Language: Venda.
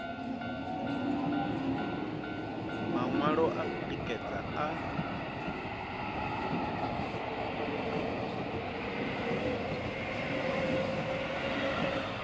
maṅwalo a u tikedza a